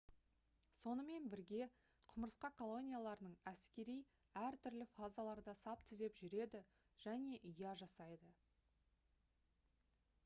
сонымен бірге құмырсқа колонияларының әскери әртүрлі фазаларда сап түзеп жүреді және ұя жасайды